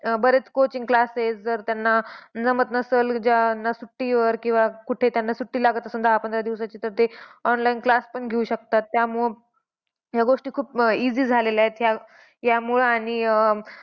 अह बरेच coaching class जर त्यांना, जमत नसेल. ज्यांना सुट्टीवर आहे किंवा ज्यांना सुट्टी लागत असेल दहा पंधरा दिवसांची तर ते online class पण घेऊ शकतात. त्यामुळे ह्या गोष्टी खूप easy झालेल्या आहेत. यामुळं आणि अह